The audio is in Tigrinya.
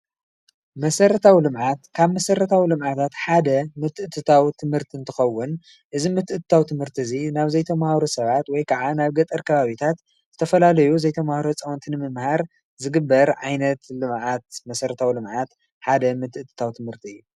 መሰረታዊ ልምዓት ካብ መሰረታዊ ልምዓት ሓደ ምትእትታው ትምህርቲ እንትኮውን እዚ ምትእትታው ትምህርቲ ናብ ዘይተመሃሩ ሰባት ወይ ከዓ ናብ ገጠር ከባቢታት ዝተፈላለዩ ዘይተመሃሩ ህፃዊንቲ ንምምሃር ዝግበር ዓይነት ልምዓት መሰረታዊ ልምዓት ሓደ ምትእትታው ትምህርቲ እዩ።